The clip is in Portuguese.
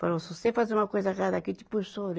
Falo, se você fazer uma coisa errada aqui, te puxo a sua